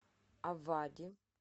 авади